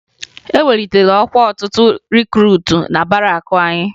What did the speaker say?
E welitere ọkwa ọtụtụ rikruutu na barakụ anyị